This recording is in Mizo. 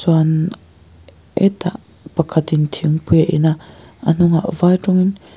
bann hetah pakhatin thingpui a in a a hnungah vai tawngin--